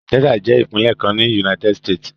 Texas jẹ́ ìpínlẹ̀ kan ní United States.